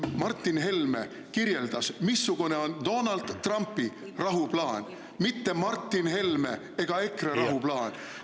Martin Helme kirjeldas, missugune on Donald Trumpi rahuplaan, mitte Martin Helme ega EKRE rahuplaan.